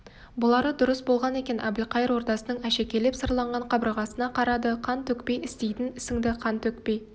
бұлары дұрыс болған екен әбілқайыр ордасының әшекейлеп сырланған қабырғасына қарады қан төкпей істейтін ісіңді қан төкпей